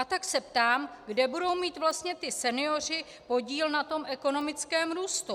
A tak se ptám, kde budou mít vlastně ti senioři podíl na tom ekonomickém růstu.